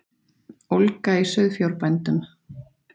Ólga í sauðfjárbændum